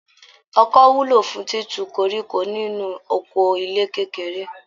Ọkọ́ wúlò fún títu koríko nínú oko ilẹ̀ kékeré